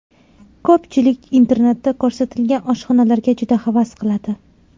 Ko‘pchilik internetda ko‘rsatilgan oshxonalarga juda havas qiladi.